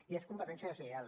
i és competència deslleial